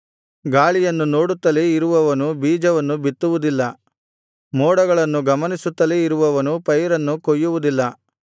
ಗಾಳಿಯನ್ನು ನೋಡುತ್ತಲೇ ಇರುವವನು ಬೀಜವನ್ನು ಬಿತ್ತುವುದಿಲ್ಲ ಮೋಡಗಳನ್ನು ಗಮನಿಸುತ್ತಲೇ ಇರುವವನು ಪೈರನ್ನು ಕೊಯ್ಯುವುದಿಲ್ಲ